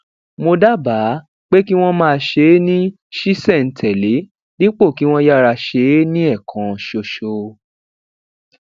mo dábàá pé kí wón máa ṣe é ní ṣísèntèlé dípò kí wón yára ṣe é ní ẹẹkan ṣoṣo